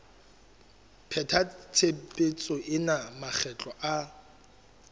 pheta tshebetso ena makgetlo a